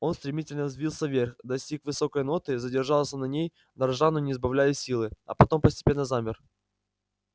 он стремительно взвился вверх достиг высокой ноты задержался на ней дрожа но не сбавляя силы а потом постепенно замер